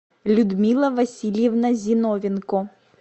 людмила васильевна зиновенко